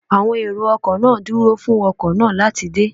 Àwọn èrò ọkọ̀ náà dúró fún ọkọ̀ náà láti dé